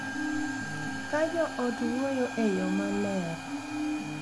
Ka jo ot wuoyo e yo maler,